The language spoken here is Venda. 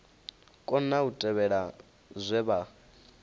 kona u tevhela zwe vha